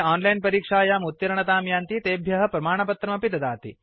ये ओनलाइन् परीक्षायाम् उत्तीर्णतां यान्ति तेभ्य प्रमाणपत्रमपि ददाति